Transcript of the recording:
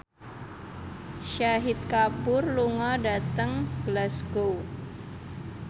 Shahid Kapoor lunga dhateng Glasgow